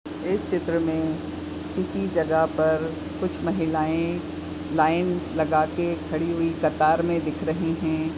इस चित्र मे इसी जगह पर कुछ महिलाए लाइन लगाके खड़ी हुई कतार मे दिख रही है।